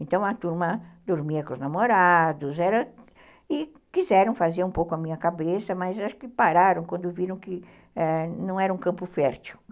Então, a turma dormia com os namorados, e quiseram fazer um pouco a minha cabeça, mas acho que pararam quando viram que não era um campo fértil.